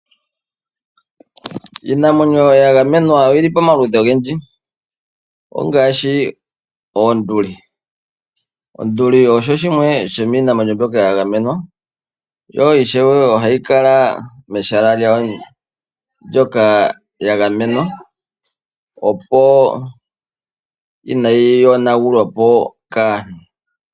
Iinamwenyo ya gamenwa oyi li pamaludhi ogendji, ongaashi oonduli. Onduli osho shimwe sho miinamwenyo mboka ya gamenwa, yo ishewe ohayi kala mehala l lyo ndoka lya gamenwa, opo inayi yonagulwa po kaantu.